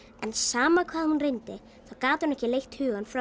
en sama hvað hún reyndi þá gat hún ekki leitt hugann frá